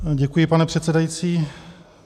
Děkuji, pane předsedající.